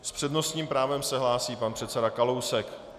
S přednostním právem se hlásí pan předseda Kalousek.